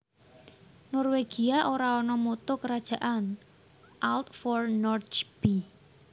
Norwegia ora ana Motto kerajaan Alt for Norge b